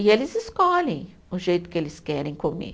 E eles escolhem o jeito que eles querem comer.